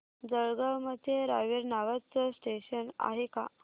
जळगाव मध्ये रावेर नावाचं स्टेशन आहे का